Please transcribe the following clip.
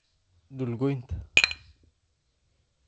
Dhul goynta